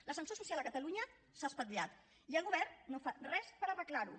l’ascensor social a catalunya s’ha espatllat i el govern no fa res per arreglar ho